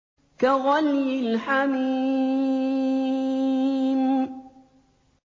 كَغَلْيِ الْحَمِيمِ